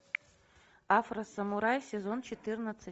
афросамурай сезон четырнадцать